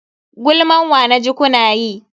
Gulman wa naji kuna yi?